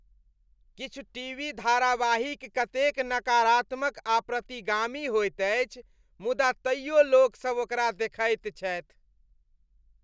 किछु टीवी धारावाहिक कतेक नकारात्मक आ प्रतिगामी होइत अछि मुदा तैयो लोकसभ ओकरा देखैत छथि।